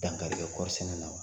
Dankari kɛ kɔɔri sɛnɛ na.